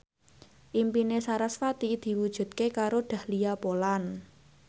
impine sarasvati diwujudke karo Dahlia Poland